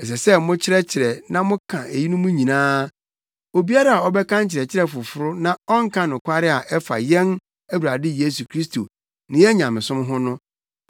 Ɛsɛ sɛ mokyerɛkyerɛ na moka eyinom nyinaa. Obiara a ɔbɛma nkyerɛkyerɛ foforo na ɔnka nokware a ɛfa yɛn Awurade Yesu Kristo ne yɛn nyamesom ho no